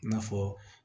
I n'a fɔ